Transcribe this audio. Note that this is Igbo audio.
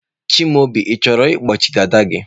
Chimaobi, ị chọrọ ịkpọchi dada gị?